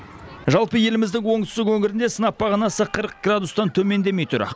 жалпы еліміздің оңтүстік өңірінде сынап бағанасы қырық градустан төмендемей тұр